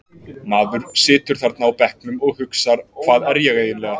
Maður situr þarna á bekknum og hugsar Hvað er ég eiginlega?